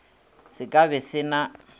se ka be se na